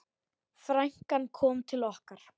Frænkan kom til okkar.